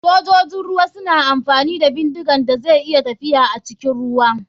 Sojojin ruwa suna amfani da bindiga da zai iya tafiya acikin ruwa.